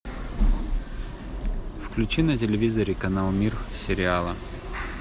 включи на телевизоре канал мир сериала